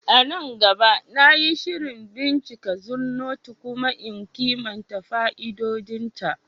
A nan gaba, na yi shirin bincika Zornoto kuma in kimanta fa'idodinta.